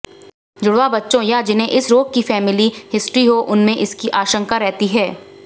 जुड़वा बच्चों या जिन्हें इस रोग की फैमिली हिस्ट्री हो उनमें इसकी आशंका रहती है